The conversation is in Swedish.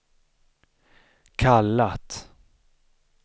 kallat